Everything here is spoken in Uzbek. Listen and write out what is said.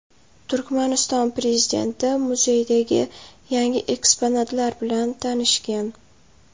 Turkmaniston prezidenti muzeydagi yangi eksponatlar bilan tanishgan.